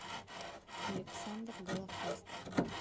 александр голофаст